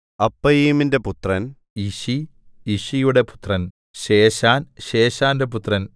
അപ്പയീമിന്റെ പുത്രൻ യിശി യിശിയുടെ പുത്രൻ ശേശാൻ ശേശാന്റെ പുത്രൻ